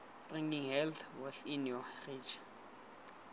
bringing health within your reach